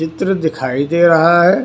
चित्र दिखाई दे रहा है।